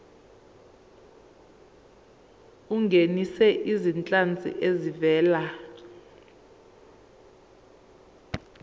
ungenise izinhlanzi ezivela